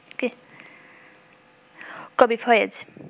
কবি ফয়েজ